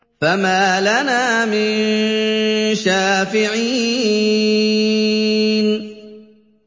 فَمَا لَنَا مِن شَافِعِينَ